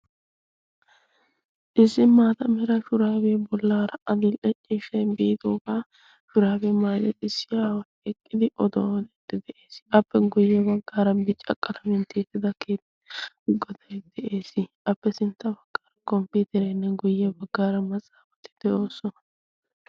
Issi maata meray shurabe bollara adil''e ciishshay biidooga shurabbiya maayida issi aaway eqqidi oduwaa odide dees. appe guyye baggar bicca qalamiyaan tiyyetida keettaa goday de'ees. appe sintta baggara komppiterenne guyye maxaafati de'oosona.